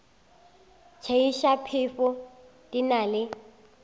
tšeiša phefo di na le